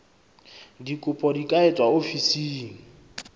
dikopo di ka etswa ofising